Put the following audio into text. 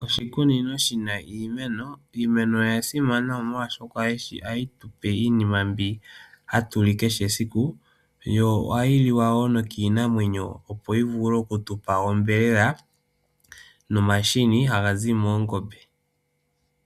Oshikunino shina iimeno. Iimeno oya simana molwashoka ohayi tupe iinima mbi hatuli kehe esiku. Yo ohayi liwa wo nokiinamwenyo opo yi vule okutupa onyama nomahini haga zi moongombe.